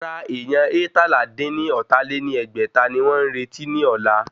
Rárá èyán eétalá-dín-ní-ọ́ta lé ní ẹgbẹ́ta ni wọ́n ń retí ní ọ̀la